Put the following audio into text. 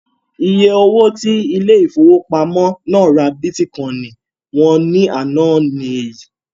Iye owó tí ilé ìfowópamọ́ náà ra bítíkọìnì wọn ní àná ni èyí